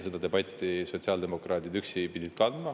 Seda debatti pidid sotsiaaldemokraadid üksi kandma.